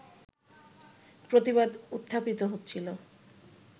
প্রতিবাদ উত্থাপিত হচ্ছিল